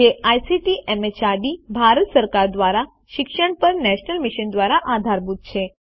જે ICT MHRD Bharat સરકાર દ્વારા શિક્ષણ પર નેશનલ મિશન દ્વારા આધારભૂત છે